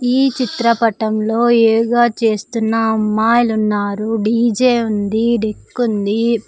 ఈ చిత్రపటంలో యోగా చేస్తున్న అమ్మాయిలు ఉన్నారు డీ_జే ఉంది డెక్ ఉంది.